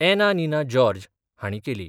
एना Nina George हांणी केली.